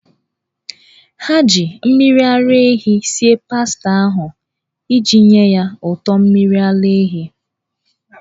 Ha ji mmiri ara ehi sie pasta ahụ iji nye ya ụtọ mmiri ara ehi.